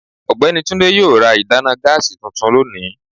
ọgbẹni Túndé yóò rà ìdána gáásí túntún lónì